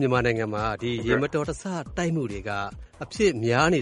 မြန်မာနိုင်ငံမှာ ယာဉ်တိုက်မှုတွေ အဖြစ်များလာနေ